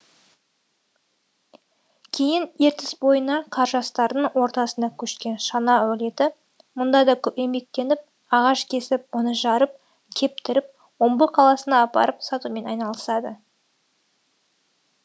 кейін ертіс бойына қаржастардың ортасына көшкен шана әулеті мұнда да көп еңбектеніп ағаш кесіп оны жарып кептіріп омбы қаласына апарып сатумен айналысады